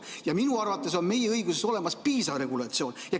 Ja minu arvates on meie õiguses olemas piisav regulatsioon.